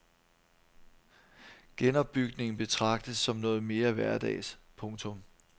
Genopbygning betragtes som noget mere hverdags. punktum